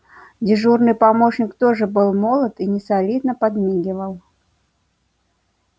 дежурный помощник тоже был молод и несолидно подмигивал